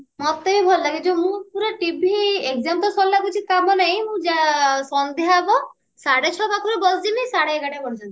ମତେ ବି ଭଲ ଲାଗେ ଯଉ ମୁଁ ପୁରା TV exam ତ ସରିଲା ଆଉ କିଛି କମ ନାଇଁ ମୁଁ ଜା ସନ୍ଧ୍ଯା ହବ ସାଢେ ଛଅ ସାତେରୁ ବସିଜିବି ସାଢେ ଏଗାରଟା ପର୍ଯ୍ୟନ୍ତ